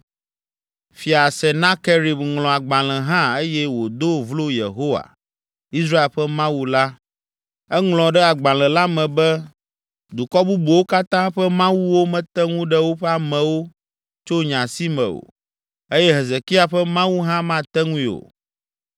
Fia Senakerib ŋlɔ agbalẽ hã eye wòdo vlo Yehowa, Israel ƒe Mawu la. Eŋlɔ ɖe agbalẽ la me be, “Dukɔ bubuwo katã ƒe mawuwo mete ŋu ɖe woƒe amewo tso nye asi me o, eye Hezekia ƒe Mawu hã mate ŋui o.”